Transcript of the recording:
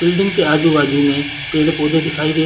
building के आजू -बाजु में पेड़- पौधे दिखाई दे --